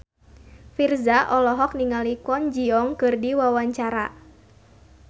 Virzha olohok ningali Kwon Ji Yong keur diwawancara